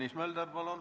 Tõnis Mölder, palun!